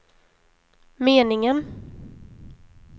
meningen